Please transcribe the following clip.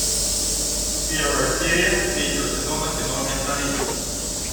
первая серия третьего сезона кино менталист